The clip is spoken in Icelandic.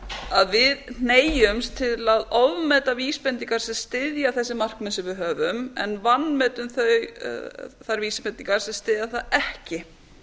að við hneigjumst til að ofmeta vísbendingar sem styðja þessi markmið sem við höfum en vanmetum þær vísbendingar sem styðja það ekki